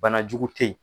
Banajugu tɛ yen